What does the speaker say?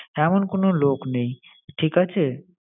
এমন কোনো লোক নেই, ঠিক আছে!